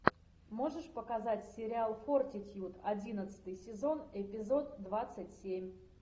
можешь показать сериал фортитьюд одиннадцатый сезон эпизод двадцать семь